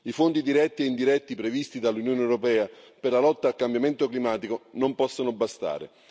I fondi diretti e indiretti previsti dall'Unione europea per la lotta al cambiamento climatico non possono bastare.